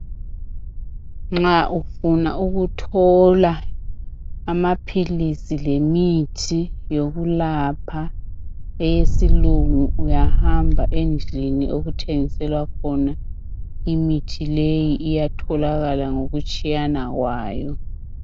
Nxa ufuna ukuthola amaphilizi lemithi yokulapha eyesilungu, uyahamba endlini okuthengiselwa khona, imithi leyi iyatholakala ngokutshiyana kwayo.